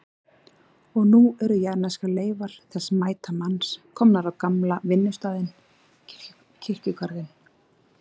Og nú eru jarðneskar leifar þessa mæta manns komnar á gamla vinnustaðinn, kirkjugarðinn.